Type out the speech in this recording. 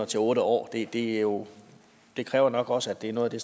til otte år det år det kræver nok også at det er noget af